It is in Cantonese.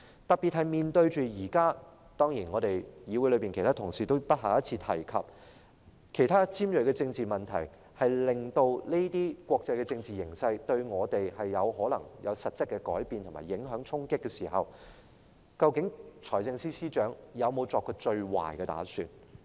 特別是面對着現時——當然，議會內其他同事都不下一次提及——其他尖銳的政治問題，我們在此國際政治形勢之下，可能受到實質的改變、影響和衝擊，在這時候，究竟財政司司長有否作最壞的打算？